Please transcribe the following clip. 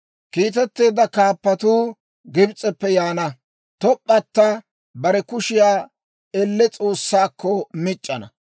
Kiitetteedda kaappatuu Gibs'eppe yaana; Top'p'ata bare kushiyaa elle S'oossaakko mic'c'ana.